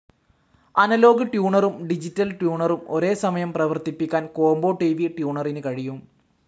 Analogue ട്യൂണറും digital ട്യൂണറും ഒരേ സമയം പ്രവർത്തിപ്പിക്കാൻ കോംബോ ട്‌ വി ട്യൂണറിന് കഴിയും.